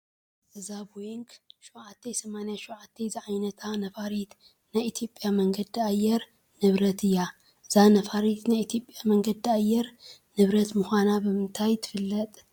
እዛ ቦይንግ 878 ዝዓይነታ ነፋሪት ናይ ኢትዮጵያ መንገዲ ኣየር ንብረት እያ፡፡ እዛ ነፋሪት ናይ ኢትዮጵያ መንገዲ ኣየር ንብረት ምዃና ብምንታይ ትፍለጥ?